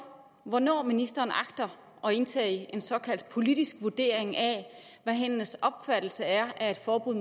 hvornår ministeren agter at indtage en såkaldt politisk vurdering af hvad hendes opfattelse er af et forbud